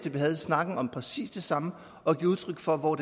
vi havde snakken om præcis det samme at give udtryk for hvor